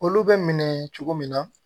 Olu bɛ minɛ cogo min na